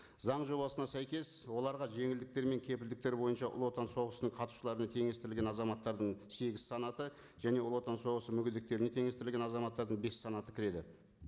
заң жобасына сәйкес оларға жеңілдіктер мен кепілдіктер бойынша ұлы отан соғысының қатысушыларына теңестірілген азаматтардың сегіз санаты және ұлы отан соғысы мүгедектеріне теңестірілген азаматтардың бес санаты кіреді